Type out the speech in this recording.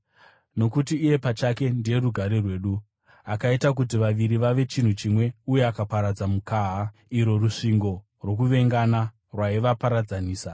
Nokuti iye pachake ndiye rugare rwedu, akaita kuti vaviri vave chinhu chimwe uye akaparadza mukaha, irwo rusvingo rwokuvengana rwaivaparadzanisa,